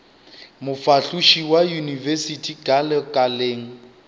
mofahloši wa yunibesithi ka lekaleng